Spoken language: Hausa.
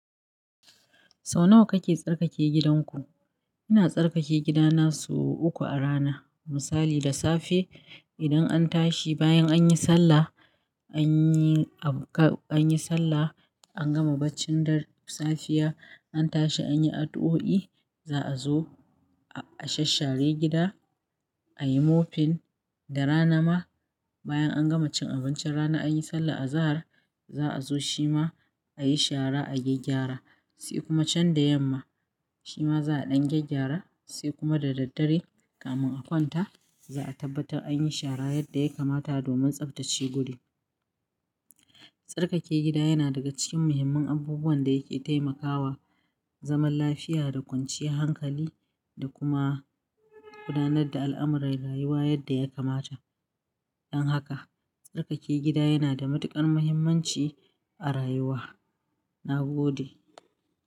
Sau nawa kake tsarkake gidanku? Ina tsarkake gidana sau uku a rana. Misali, da safe idan an tashi bayan anyi sallah anyi, anyi sallah an gama bacci dare safiya, an tashi anyi addu'o'i, za'a zo a shasshare gida, a yi mopping. Da rana ma bayan an gama cin abincin rana anyi sallah azahar za'a zo shima a yi shara, a gyaggyara, sai kuma can da yamma shima za'a ɗan gyaggyara sai kuma da daddare kamin a kwanta za'a tabbatar anyi shara yadda ya kamata domin tsaftace guri. Tsarkake gida yana daga cikin muhimman abubuwan da yake taimakawa zaman lafiya da kwanciyar hankali da kuma gudanar da al'amuran rayuwa yadda ya kamata. Don haka tsarkake gida yana da matuƙar muhimmanci a rayuwa, na gode.